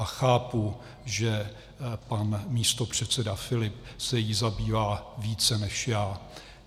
A chápu, že pan místopředseda Filip se jí zabývá více než já.